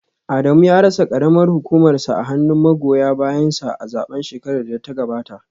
Adamu ya rasa karamar hukumarsa a hannun magoya bayansa a zaben shekarar da ta gabata